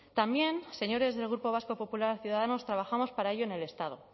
también señores del grupo vasco popular ciudadanos trabajamos para ello en el estado